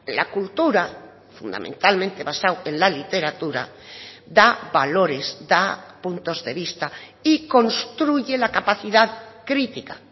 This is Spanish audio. la cultura fundamentalmente basado en la literatura da valores da puntos de vista y construye la capacidad crítica